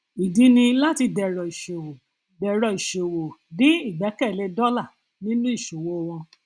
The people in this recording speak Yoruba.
ìdí ni láti dẹrọ ìṣòwò dẹrọ ìṣòwò dín ìgbẹkẹlé dólà nínú ìṣòwò wọn